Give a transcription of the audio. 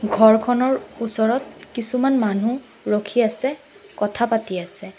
ঘৰখনৰ ওচৰত কিছুমান মানুহ ৰখি আছে কথা পাতি আছে।